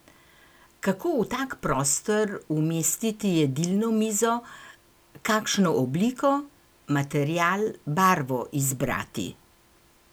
Kako v tak prostor umestiti jedilno mizo, kakšno obliko, material, barvo izbrati?